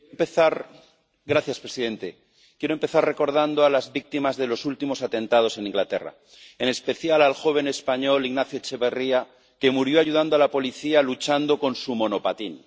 Señor presidente, quiero empezar recordando a las víctimas de los últimos atentados en Inglaterra, en especial al joven español Ignacio Echeverría, que murió ayudando a la policía luchando con su monopatín.